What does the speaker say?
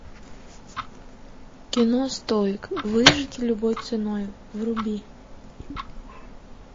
кино стоик выжить любой ценой вруби